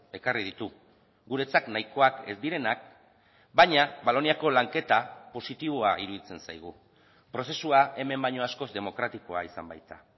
ekarri ditu guretzat nahikoak ez direnak baina valoniako lanketa positiboa iruditzen zaigu prozesua hemen baino askoz demokratikoa izan baita